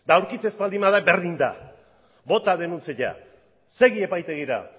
eta aurkitzen ez baldin bada berdin da bota denuntzia segi epaitegira